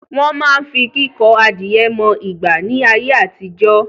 Wọ́n máa ń fi kíkọ adìẹ mọ ìgbà ni ayé àtijọ́